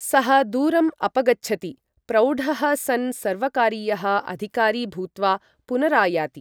सः दूरम् अपगच्छति, प्रौढः सन् सर्वकारीयः अधिकारी भूत्वा पुनरायाति।